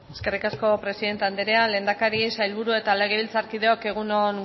eskerrik asko presidente andrea lehendakari sailburu eta legebiltzarkideok egun on